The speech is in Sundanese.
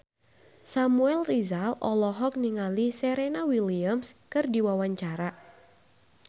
Samuel Rizal olohok ningali Serena Williams keur diwawancara